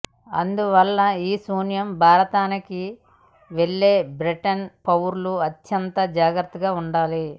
అందువల్ల ఈశాన్య భారతానికి వెళ్లే బ్రిటన్ పౌరులు అత్యంత జాగ్రత్తగా ఉండాలి